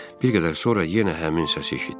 Bir qədər sonra yenə həmin səs eşitdim.